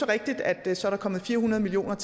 rigtigt at der så er kommet fire hundrede million